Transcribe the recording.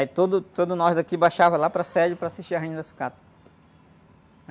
Aí todo, todos nós daqui baixava lá para a sede para assistir a Rainha da Sucata.